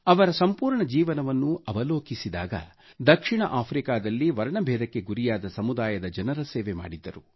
ಅವರ ಸಂಪೂರ್ಣ ಜೀವನವನ್ನು ಅವಲೋಕಿಸಿದಾಗ ದಕ್ಷಿಣ ಆಫ್ರಿಕಾದಲ್ಲಿ ವರ್ಣ ಬೇಧಕ್ಕೆ ಗುರಿಯಾದ ಸಮುದಾಯದ ಜನರ ಸೇವೆ ಮಾಡಿದ್ದರು